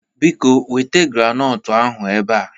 Biko weta granọtụ ahụ ebe a!